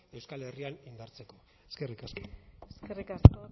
euskal herrian indartzeko eskerrik asko eskerrik asko